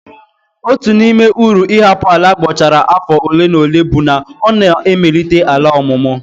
Otu n'ime uru ịhapụ ala abọchara afọ ole na ole bụ na ọ na-emelite ala ọmụmụ.